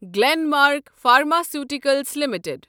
Glen Mark pharmaceuticals limited